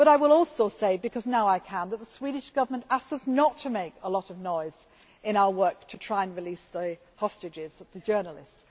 I will also say, because now I can, that the Swedish Government asked us not to make a lot of noise in our work to try and release the hostages, the journalists.